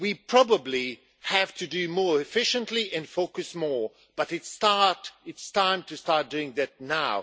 We probably have to be more efficient and focus more, but it is time to start doing that now.